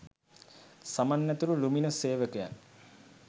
සමන් ඇතුළු ලුමිනස් සේවකයන්